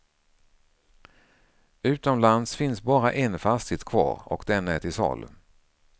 Utomlands finns bara en fastighet kvar och den är till salu.